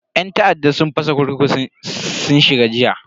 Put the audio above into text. Yan ta'adda sun fasa kurkuku sun shiga jiya.